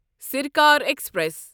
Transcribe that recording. Sarkar express